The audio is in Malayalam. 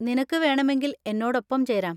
നിനക്ക് വേണമെങ്കിൽ എന്നോടൊപ്പം ചേരാം.